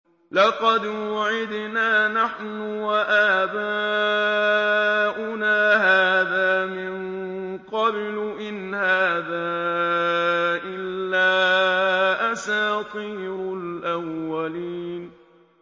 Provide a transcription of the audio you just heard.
لَقَدْ وُعِدْنَا نَحْنُ وَآبَاؤُنَا هَٰذَا مِن قَبْلُ إِنْ هَٰذَا إِلَّا أَسَاطِيرُ الْأَوَّلِينَ